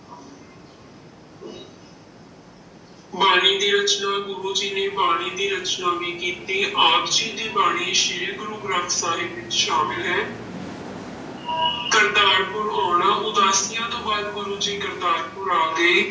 ਬਾਣੀ ਦੀ ਰਚਨਾ, ਗੁਰੂ ਜੀ ਨੇ ਬਾਣੀ ਦੀ ਰਚਨਾ ਵੀ ਕੀਤੀ, ਆਪ ਜੀ ਦੀ ਬਾਣੀ ਸ੍ਰੀ ਗੁਰੂ ਗ੍ਰੰਥ ਸਾਹਿਬ ਵਿੱਚ ਸ਼ਾਮਲ ਹੈ ਕਰਤਾਰਪੁਰ ਆਉਣਾ, ਉਦਾਸੀਆਂ ਤੋਂ ਬਾਅਦ ਗੁਰੂ ਜੀ ਕਰਤਾਰਪੁਰ ਆ ਗਏ।